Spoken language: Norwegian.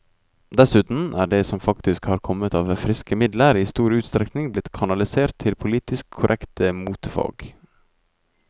Dessuten er det som faktisk har kommet av friske midler, i stor utstrekning blitt kanalisert til politisk korrekte motefag.